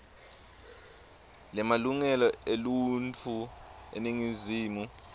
lemalungelo eluntfu eningizimu